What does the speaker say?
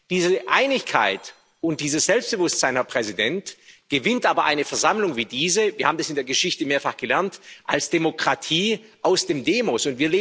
Diese Einigkeit und dieses Selbstbewusstsein, Herr Präsident, gewinnt aber eine Versammlung wie diese wir haben das in der Geschichte mehrfach gelernt als Demokratie aus dem Demos